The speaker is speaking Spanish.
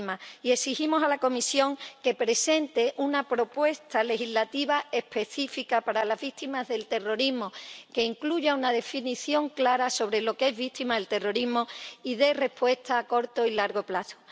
y exigimos a la Comisión que presente una propuesta legislativa específica para las víctimas del terrorismo, que incluya una definición clara sobre lo que es víctima del terrorismo y dé respuesta a corto y largo plazo.